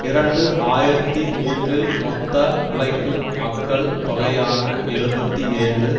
இரண்டு ஆயிரத்தி மூன்றில் மொத்த உழைக்கும் மக்கள் தொகையான எழுபத்தி ஏழு